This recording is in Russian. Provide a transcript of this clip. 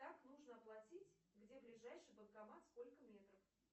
как нужно платить где ближайший банкомат сколько метров